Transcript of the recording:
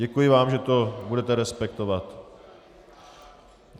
Děkuji vám, že to budete respektovat.